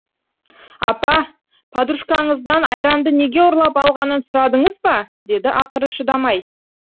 апа подружкаңыздан айранды неге ұрлап алғанын сұрадыңыз ба деді ақыры шыдамай